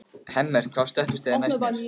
Hemmert, hvaða stoppistöð er næst mér?